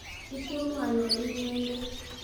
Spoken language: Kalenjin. Ipunu ano inyendet?